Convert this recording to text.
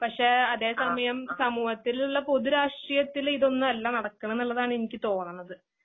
പക്ഷേഅതേസമയം സമൂഹത്തിലുള്ളപൊതുരാഷ്ട്രീയത്തിലിതൊന്നുഅല്ലനടക്കണ്ന്നുള്ളതാണ്എനിക്കുതോന്നണത്.